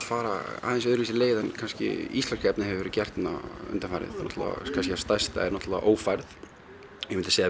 fara öðruvísi leið en íslenska efnið hefur verið gert undanfarið stærst er náttúrulega ófærð ég myndi segja